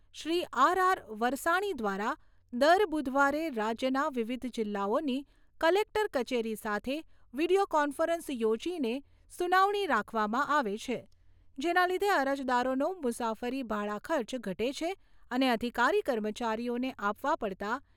વરસાણી દ્વારા દર બુધવારે રાજ્યના વિવિધ જિલ્લાઓની કલેકટર કચેરી સાથે વિડિયો કોન્ફરન્સ યોજીને સુનાવણી રાખવામાં આવે છે જેના લીધે અરજદારોનો મુસાફરી ભાડાખર્ચ ઘટે છે અને અધિકારી કર્મચારીઓને આપવા પડતા